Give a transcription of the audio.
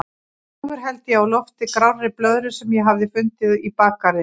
Hróðugur held ég á lofti grárri blöðru sem ég hafði fundið í bakgarðinum.